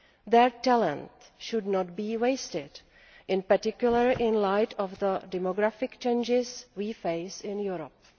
Their talent should not be wasted, in particular in light of the demographic changes we face in Europe.